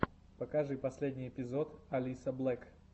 покажи последний эпизод алисаблек